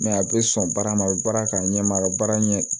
a bɛ sɔn baarama a bɛ baara kɛ a ɲɛma a ka baara ɲɛ